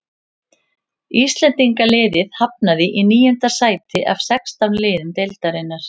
Íslendingaliðið hafnaði í níunda sæti af sextán liðum deildarinnar.